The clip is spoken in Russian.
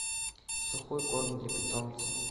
сухой корм для питомца